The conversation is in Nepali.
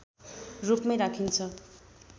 रूपमै राखिन्छ